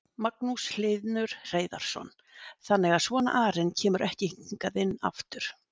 Magnús Hlynur Hreiðarsson: Þannig að svona arinn kemur ekki hingað inn aftur?